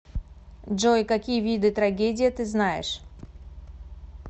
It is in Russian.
джой какие виды трагедия ты знаешь